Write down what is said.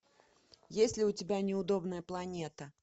есть ли у тебя неудобная планета